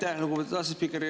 Aitäh, lugupeetud asespiiker!